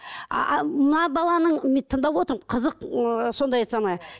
ааа мына баланың мен тыңдап отырмын қызық ыыы сондай это самое